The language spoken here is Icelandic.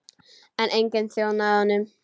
En enginn þjónaði honum.